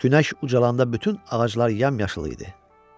Günəş ucalanda bütün ağaclar yamyaşıl idi.